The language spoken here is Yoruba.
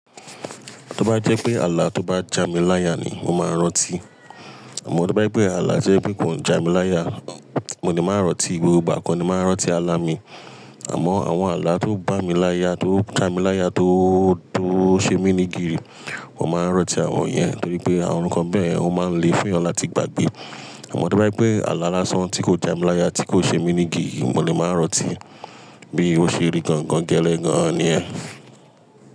Tó bá jẹ́ pé ààlà tó bá jami láya ni mo máa rọ́tí. Àmọ́ tó bá jẹ́ pé ààlà to jẹ́ pé kò jami láya, mo le máa rọ́tí, gbogbo gba kọ ni máa rọ́tí, àlà mi. Àmọ́ àwọn ààlà tó bá mi láya, tó jami láya, tó, tó ṣe mí ní gìrì, wọ́n máa rọ́tí àwọn yẹn torí pé àwọn nnkan bẹ́ẹ̀, wọ́n máa ń le fẹ́ ọ láti gbàgbé. Àmọ́ tó bá jẹ́ pé àlà lásán tí kò jami láya, tí kò ṣe mí ní gìrì, mo lè máa rọ́tí bí ó ṣe rí gangan gẹ́lẹ́ gan ni yẹ́n.